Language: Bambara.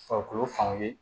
Farikolo fanw ye